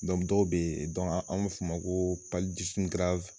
dɔw bɛ yen an b'a fɔ a ma ko